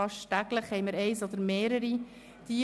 Fast täglich kommen eine oder mehrere E-Mails.